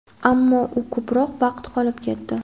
ammo u ko‘proq vaqt qolib ketdi.